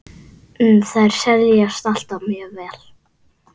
Þær seljast alltaf mjög vel.